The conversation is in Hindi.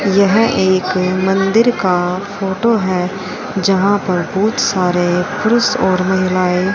यहां एक मंदिर का फोटो है जहां पर बहुत सारे पुरुष और महिलाएं--